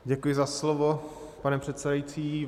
Děkuji za slovo, pane předsedající.